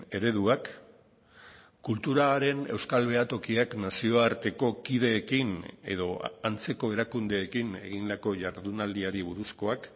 ereduak kulturaren euskal behatokiak nazioarteko kideekin edo antzeko erakundeekin egindako jardunaldiari buruzkoak